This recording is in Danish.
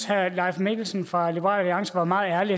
herre leif mikkelsen fra liberal alliance var meget ærlig